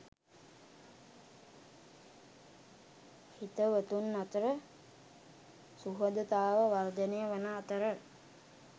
හිතවතුන් අතර සුහදතාව වර්ධනය වන අතර